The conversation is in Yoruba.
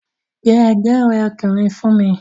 Pe ẹ̀gbọ́n rẹ̀ ọkùnrin fún mi!